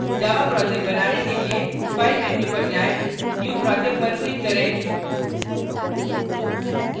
java project बनाने के लिए file menu पर जाएँ new project पर click करें